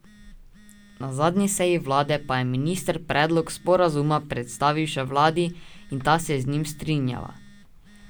Na zadnji seji vlade pa je minister predlog sporazuma predstavil še vladi in ta se je z njim strinjala.